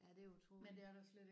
Ja det er utroligt